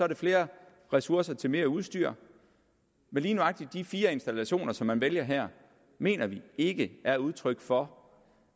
det flere ressourcer til mere udstyr men lige nøjagtig de fire installationer som man vælger her mener vi ikke er udtryk for